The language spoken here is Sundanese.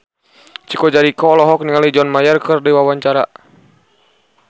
Chico Jericho olohok ningali John Mayer keur diwawancara